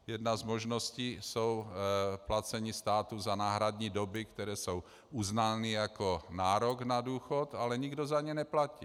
Jedna z možností jsou placení státu za náhradní doby, které jsou uznány jako nárok na důchod, ale nikdo za ně neplatí.